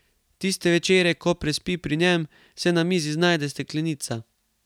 Tiste večere, ko prespi pri njem, se na mizi znajde steklenica.